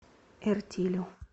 эртилю